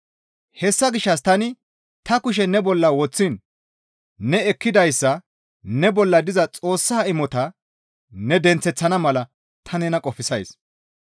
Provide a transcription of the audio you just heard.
Hessa gishshas tani ta kushe ne bolla woththiin ne ekkidayssa ne bolla diza Xoossa imotaa ne denththeththana mala ta nena qofsays.